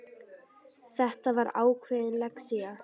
Þetta var ákveðin lexía.